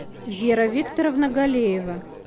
вера викторовна галеева